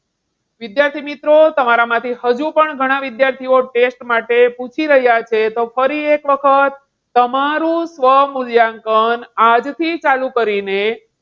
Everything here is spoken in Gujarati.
વિદ્યાર્થી મિત્રો, તમારામાંથી હજુ પણ ઘણા વિદ્યાર્થીઓ test માટે પૂછી રહ્યા છે. તો ફરી એક વખત, તમારું સ્વમૂલ્યાંકન આજથી ચાલુ કરીને,